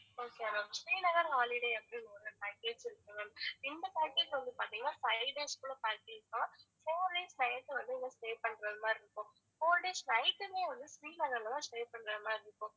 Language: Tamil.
okay ma'am ஸ்ரீநகர் holiday அப்படினு ஒரு package இருக்கு ma'am இந்த package வந்து பாத்திங்கன்னா five days உள்ள package தான் four days night வந்து அங்க stay பண்றது மாதிரி இருக்கும் four days night உமே வந்து ஸ்ரீநகர்ல தான் stay பண்றது மாதிரி இருக்கும்